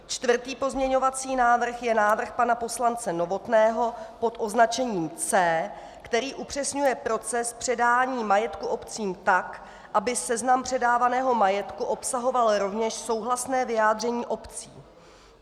Čtvrtý pozměňovací návrh je návrh pana poslance Novotného pod označením C, který upřesňuje proces předání majetku obcím tak, aby seznam předávaného majetku obsahoval rovněž souhlasné vyjádření obcí.